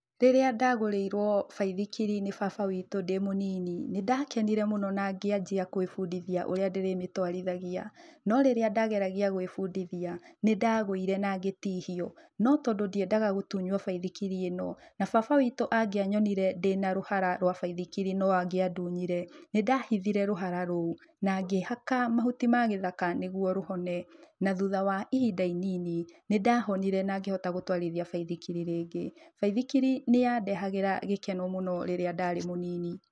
Rĩrĩa ndagũrĩirwo baithikiri nĩ baba witũ ndĩ mũnini, nĩ ndakenire mũno na ngĩanjia kwĩbundithia ũrĩa ndĩrĩmĩtwarithaGia. No rĩrĩa ndageragia gwĩbundithia, nĩ ndagũire na ngĩtihio, no tondũ ndiendaga gũtunywo baithikiri ĩno na baba witũ angĩanyonire ndĩna rũhara rwa baithikiri no angĩandunyire, nĩ ndahithire rũhara rũo na ngĩĩhaka mahuti ma gĩthaka nĩguo rũhone na thutha wa ihinda inini nĩ ndahonire na ngĩhota gũtwarithia baithikiri rĩngĩ. Baithikiri nĩ yandehagĩra gĩkeno mũno rĩrĩa ndarĩ mũnini.